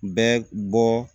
Bɛ bɔ